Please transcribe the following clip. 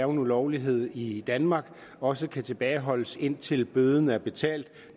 ulovlighed i danmark også kan tilbageholdes indtil bøden er betalt